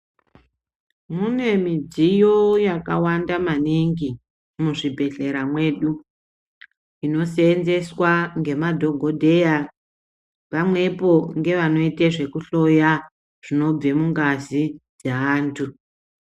Mune midziyo yakawanda maningi mwuzvibhedleya mwedu inoseenzeswa ngemadhokodheya pamwepo ngevanoite zvekuhloya zvinobva mungazi dzeantu.